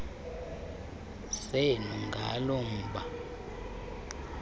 senu ngalo mba